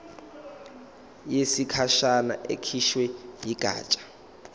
yesikhashana ekhishwe yigatsha